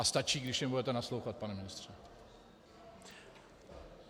A stačí, když jim budete naslouchat, pane ministře.